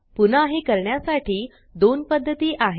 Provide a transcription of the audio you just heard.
पुन्हा हे करण्यासाठी दोन पद्धती आहेत